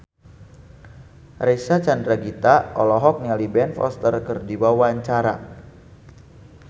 Reysa Chandragitta olohok ningali Ben Foster keur diwawancara